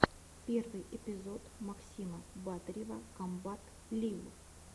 первый эпизод максима батырева комбат лив